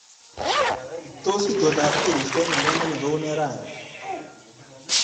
Tos itondab koristo eng olamenye kounee raini